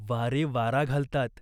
वारे वारा घालतात.